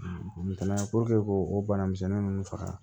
Ntɛnɛn puruke k'o o bana misɛnnin ninnu faga